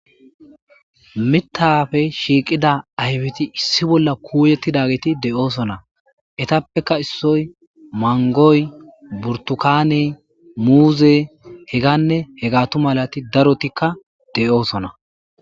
Mithappe shiqida ayifeti issi bolla shiqidi kuyetidageti de, osona etappeka isoyi mangoyi burtukaney muze heganne hegatu malati darotika de, osona